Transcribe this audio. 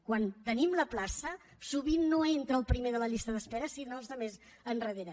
quan tenim la plaça sovint no entra el primer de la llista d’espera sinó els de més endarrere